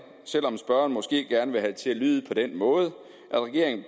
selv om spørgeren måske gerne vil have det til at lyde på den måde at regeringen